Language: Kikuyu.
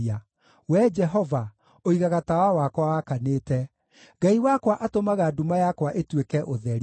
Wee Jehova, ũigaga tawa wakwa wakanĩte; Ngai wakwa atũmaga nduma yakwa ĩtuĩke ũtheri.